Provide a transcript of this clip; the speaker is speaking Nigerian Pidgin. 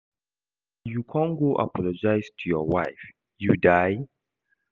As you come go apologise to your wife, you die?